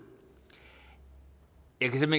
jeg kan